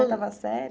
Estava certo?